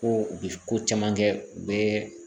Ko u bɛ ko caman kɛ u bɛ